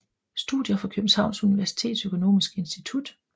Studier fra Københavns Universitets Økonomiske Institut